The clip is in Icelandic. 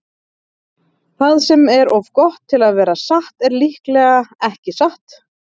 Það sem er of gott til að vera satt er líklega ekki satt.